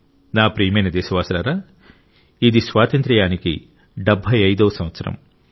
నా ప్రియమైన దేశ వాసులారా ఇది స్వాతంత్ర్యానికి 75 వ సంవత్సరం